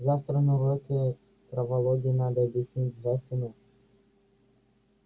завтра на уроке травологии надо объяснить джастину